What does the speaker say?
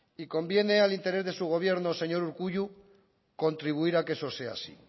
y conviene al interés de su gobierno señor urkullu contribuir a que eso sea así